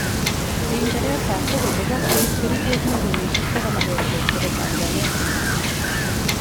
Uigereza kokochobok koib kericheg millionishek 100 chebo chajanet.